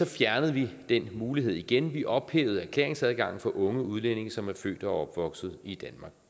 fjernede vi den mulighed igen vi ophævede erklæringsadgangen for unge udlændinge som er født og opvokset i